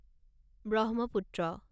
Brahmaputra